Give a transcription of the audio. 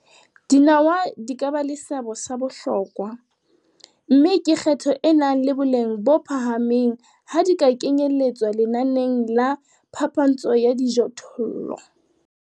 Dinawa di ka ba le seabo sa bohlokwa, mme ke kgetho e nang le boleng bo phahameng ha di ka kenyeletswa lenaneng la phapantsho ya dijothollo.